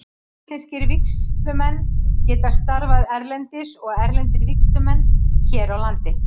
Íslenskir vígslumenn geta starfað erlendis og erlendir vígslumenn hér á landi.